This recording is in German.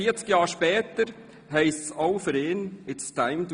Jetzt, 40 Jahre später, heisst es auch für ihn it’s time to